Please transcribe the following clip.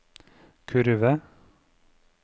kurve